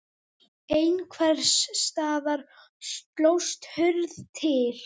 Einhvers staðar slóst hurð til.